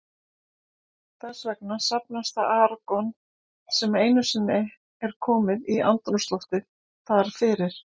Þess vegna safnast það argon, sem einu sinni er komið í andrúmsloftið, þar fyrir.